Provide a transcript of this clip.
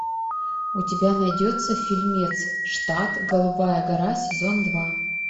у тебя найдется фильмец штат голубая гора сезон два